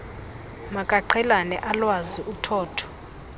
makaqhelane alwazi uthotho